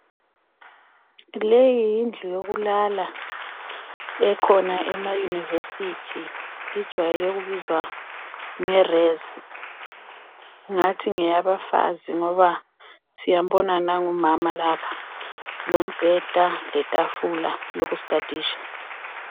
Leyi yindlu yokulala ekhona emayunivesithi injwayele ukubiza ngerezi, ngathi ngeyabafazi ngoba siyambona nangu umama lapha, lombheda lethafula lokusthadisha.